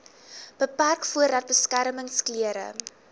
beperk voordat beskermingsklere